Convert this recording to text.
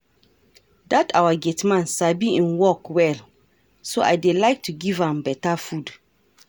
Dat our gate man sabi im work well so I dey like to give am beta food